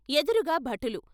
ఎదురుగా బటులు.